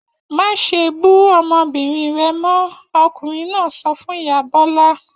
Má ṣe bú ọmọbìnrin rẹ mọ́! Ọkùnrin náà sọ fún ìyá Bọ́lá l.